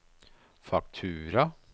faktura